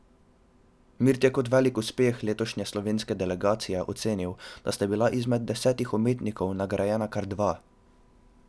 Mirt je kot velik uspeh letošnje slovenske delegacije ocenil, da sta bila izmed desetih umetnikov nagrajena kar dva.